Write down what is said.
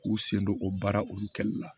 K'u sen don o baara olu kɛli la